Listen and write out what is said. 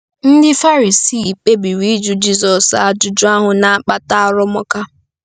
Ndị Farisii kpebiri ịjụ Jizọs ajụjụ ahụ na-akpata arụmụka.